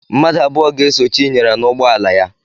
Mmadụ abụọ ga-eso Chinyere n'ụgbọala ya.